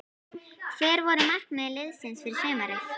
Hver voru markmið liðsins fyrir sumarið?